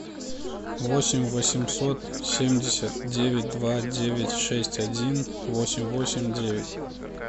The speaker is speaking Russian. восемь восемьсот семьдесят девять два девять шесть один восемь восемь девять